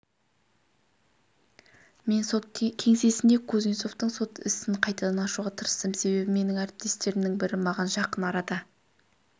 мен сот кеңсесінде кузнецовтың сот ісін қайтадан ашуға тырыстым себебі менің әріптестерімнің бірі маған жақын арада